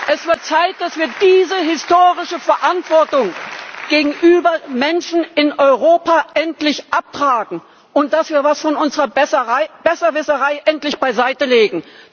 Es wird Zeit, dass wir diese historische Verantwortung gegenüber Menschen in Europa endlich abtragen und dafür etwas von unserer Besserwisserei endlich beiseitelegen.